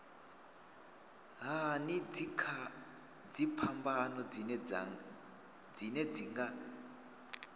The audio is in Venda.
hani dziphambano dzine dzi nga